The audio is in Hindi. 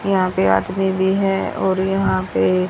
यहां पे आदमी भी है और यहां पे--